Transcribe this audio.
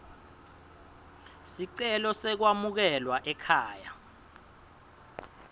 sicelo sekwamukelwa ekhaya